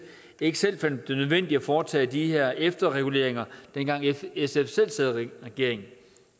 ikke selv fandt det nødvendigt at foretage de her efterreguleringer dengang sf selv sad i regering